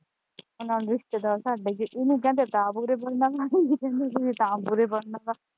ਨਾਲ ਰਿਸਤੇਦਾਰ ਸਾਡੇ ਇਹਨੂੰ ਕਹਿੰਦੇ ਤਾਂ ਬੂਰੇ ਬਨਣਾ ਜਾਂ ਇਹਨੂੰ ਕਹੀਏ ਤਾਂ ਬੂਰੇ ਬਨਣਾ।